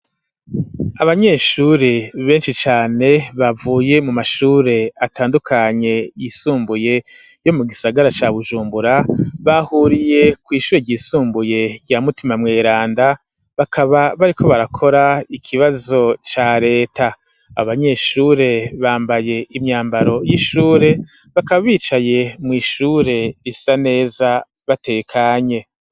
Abanyeshuri ,benshi cane bavuye ,mu mashure atandukanye y'isumbuye ,yo mu gisagara ca bujumbura, bahuriye kw'ishure ryisumbuye, rya mutima mweranda ,bakaba bari ko barakora ikibazo ca leta, abanyeshure bambaye imyambaro y'ishure, bakaba bicaye mw' ishure isa neza batekanye.